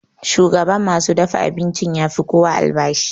Shugan ma su dafa abincin ya fi kowa albashi.